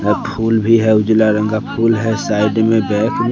यह फूल भी है उजला रंग का फूल है साइड में बैग में--